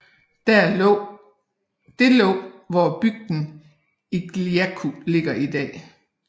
Det lå hvor bygden Igaliku ligger i dag